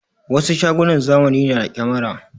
Wasu shagunan zamani na da kyamara.